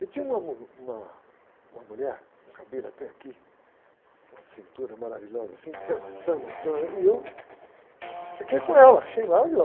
E tinha uma mu, uma, uma mulher, com cabelo até aqui, com uma cintura maravilhosa assim, dançando, então, e eu fiquei com ela, achei maravilhosa.